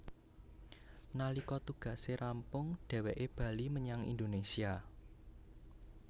Nalika tugase rampung dheweké bali menyang Indonésia